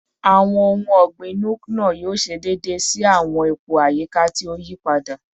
Awọn ohun ọgbin Nuke-Noh yoo ṣe deede si awọn ipo ayika ti o yipada